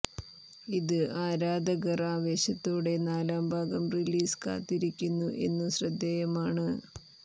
ഇത് ആരാധകർ ആവേശത്തോടെ നാലാം ഭാഗം റിലീസ് കാത്തിരിക്കുന്നു എന്നു ശ്രദ്ധേയമാണ്